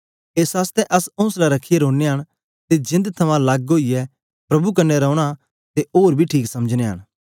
एस आसतै अस ओंसला रखियै रौनयां न ते जेंद थमां लग्ग ओईयै प्रभु दे कन्ने रौना ते ओर बी ठीक समझनयां न